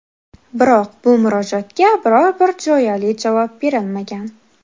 Biroq bu murojaatga biror-bir jo‘yali javob berilmagan.